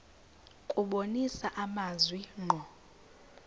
kubonisa amazwi ngqo